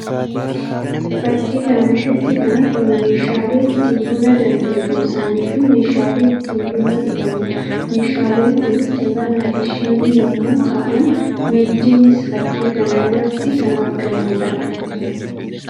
Fakkii kana irratti kan argamu meeshaalee ittiin buna danfe buusanii fi meeshaalee ittiin buna dhuganii dha. Meeshaaleen kunis jabanaa fi shinii yammuu ta'an; naddiinis fakkii kana irratti kan argamuu dha.